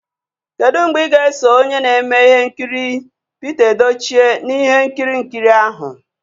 Kedu mgbe ị ga-eso onye na-eme ihe nkiri Pita Edochie na ihe nkiri nkiri ahụ?